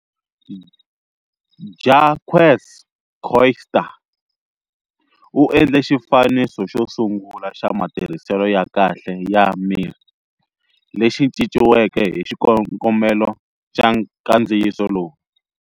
Jacques Coetser u endle xifaniso xo sungula xa matirhiselo ya kahle ya mirhi, lexi cinciweke hi xikongomelo xa nkandziyiso lowu.